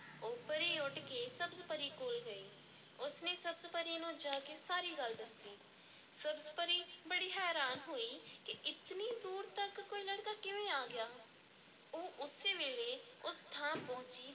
ਉਹ ਪਰੀ ਉੱਡ ਕੇ ਸਬਜ਼-ਪਰੀ ਕੋਲ ਗਈ ਉਸ ਨੇ ਸਬਜ਼-ਪਰੀ ਨੂੰ ਜਾ ਕੇ ਸਾਰੀ ਗੱਲ ਦੱਸੀ, ਸਬਜ਼-ਪਰੀ ਬੜੀ ਹੈਰਾਨ ਹੋਈ ਕਿ ਇਤਨੀ ਦੂਰ ਤੱਕ ਕੋਈ ਲੜਕਾ ਕਿਵੇਂ ਆ ਗਿਆ? ਉਹ ਉਸੇ ਵੇਲੇ ਉਸ ਥਾਂ ਪਹੁੰਚੀ,